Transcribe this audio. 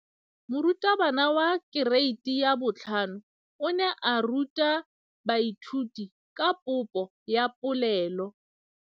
Moratabana wa kereiti ya 5 o ne a ruta baithuti ka popô ya polelô.